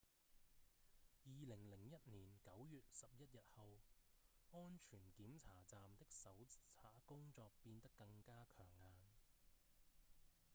2001年9月11日之後安全檢查站的搜查工作變得更加強硬